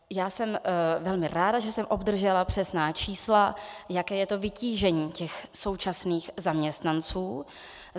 Já jsem velmi ráda, že jsem obdržela přesná čísla, jaké je to vytížení těch současných zaměstnanců.